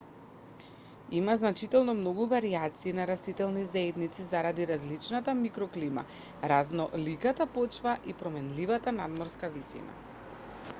има значително многу варијации на растителни заедници заради различната микроклима разноликата почва и променливата надморска висина